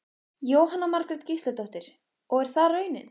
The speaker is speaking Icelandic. Jóhanna Margrét Gísladóttir: Og er það raunin?